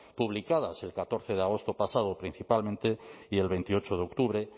publicadas el catorce de agosto pasado principalmente y el veintiocho de octubre